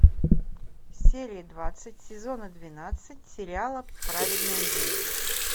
серия двадцать сезона двенадцать сериала праведная жизнь